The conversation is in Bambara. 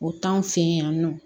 O t'anw fɛ yen nɔ